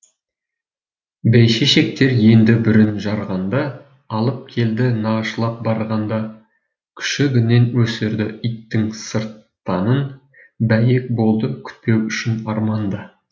бәйшешектер енді бүрін жарғанда алып келді нағашылап барғанда күшігінен өсірді иттің сырттанын бәйек болды кетпеу үшін арманда